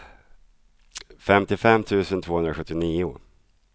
femtiofem tusen tvåhundrasjuttionio